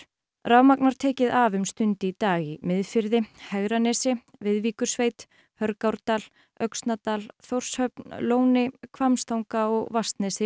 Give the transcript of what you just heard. rafmagn var tekið af um stund í dag í Miðfirði Hegranesi Viðvíkursveit Hörgárdal Öxnadal Þórshöfn Lóni Hvammstanga og Vatnsnesi